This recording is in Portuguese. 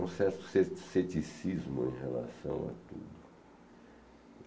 É um certo ceti ceticismo em relação a tudo.